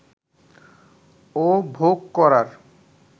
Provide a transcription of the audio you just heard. ও ভোগ করার